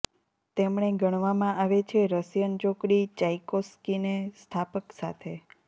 તેમણે ગણવામાં આવે છે રશિયન ચોકડી ચાઇકોસ્કીને સ્થાપક સાથે